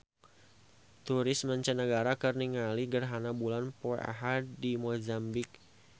Turis mancanagara keur ningali gerhana bulan poe Ahad di Mozambik